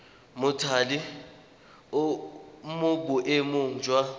mothale o mo boemong jwa